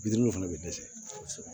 Bi duuru fana bɛ dɛsɛ